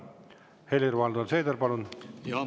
Helir-Valdor Seeder, palun!